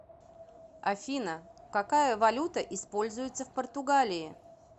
афина какая валюта используется в португалии